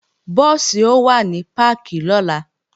Búùsì ó wà ní páàkì lọ́la